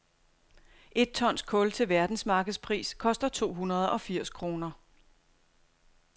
Et tons kul til verdensmarkedspris koster to hundrede og firs kroner.